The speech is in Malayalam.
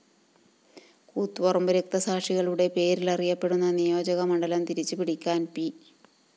കൂത്തുപറമ്പ് രക്തസാക്ഷികളുടെ പേരിലറിയപ്പെടുന്ന നിയോജക മണ്ഡലം തിരിച്ചുപിടിക്കാന്‍ പി